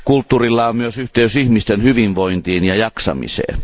Kulttuurilla on myös yhteys ihmisten hyvinvointiin ja jaksamiseen.